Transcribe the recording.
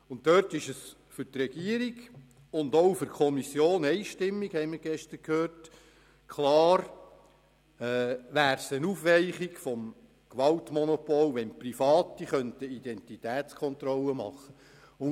Die Regierung und auch die – einstimmige – Kommission sind klar der Meinung, dass es eine Aufweichung des Gewaltmonopols darstellen würde, wenn Private Identitätskontrollen vornehmen könnten.